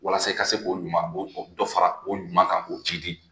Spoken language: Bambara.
Walasa i ka se k'o ɲuman o dɔ fara o ɲuman kan k'o jiidi.